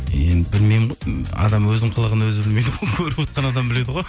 енді білмеймін ғой адам өзінің қылығын өзі көріп отқан адам біледі ғой